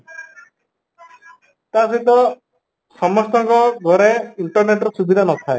ତା ସହିତ ସମସ୍ତ ଙ୍କ ଘରେ internet ର ସୁବିଧା ନ ଥାଏ